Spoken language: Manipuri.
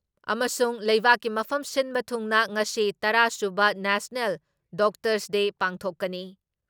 ꯑꯃꯁꯨꯡ ꯂꯩꯕꯥꯛꯀꯤ ꯃꯐꯝ ꯁꯤꯟꯕ ꯊꯨꯡꯅ ꯉꯁꯤ ꯇꯔꯥ ꯁꯨꯕ ꯅꯦꯁꯅꯦꯜ ꯗꯣꯛꯇꯔꯁꯗꯦ ꯄꯥꯡꯊꯣꯛꯀꯅꯤ ꯫